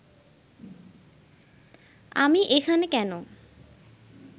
আমি এখানে কেন